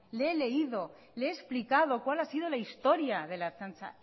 le he leído le he explicado cuál ha sido la historia de la ertzaintza